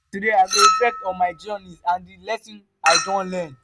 today i go reflect on my journey and di lessons i don learn.